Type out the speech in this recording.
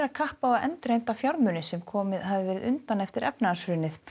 kapp á að endurheimta fjármuni sem komið hafi verið undan eftir efnahagshrunið